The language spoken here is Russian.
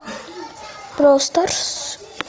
простарс